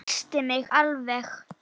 Missti mig alveg!